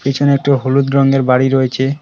পিছনে একটা হলুদ রঙের বাড়ি রয়েছে।